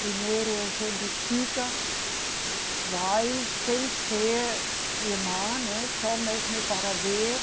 Primeiro a gente fica, vai sem ser irmã, né, só mesmo para ver.